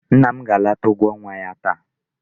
Nna m ga-anata ụgwọ ọnwa ya taa.